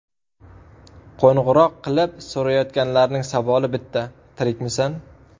Qo‘ng‘iroq qilib so‘rayotganlarning savoli bitta: ‘Tirikmisan?